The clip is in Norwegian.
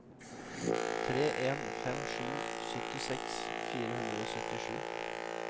tre en fem sju syttiseks fire hundre og syttisju